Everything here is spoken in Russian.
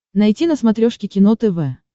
найти на смотрешке кино тв